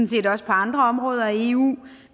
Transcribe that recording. set også på andre områder af eu